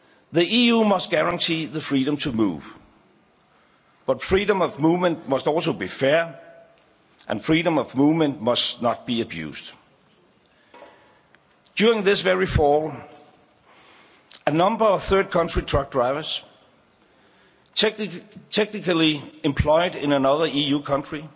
The EU must guarantee the freedom to move, but freedom of movement must also be fair and freedom of movement must not be abused. During this very fall, a number of third country truck drivers technically employed in another EU country